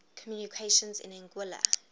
communications in anguilla